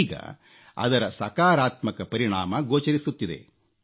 ಈಗ ಅದರ ಸಕಾರಾತ್ಮಕ ಪರಿಣಾಮ ಗೋಚರಿಸುತ್ತಿದೆ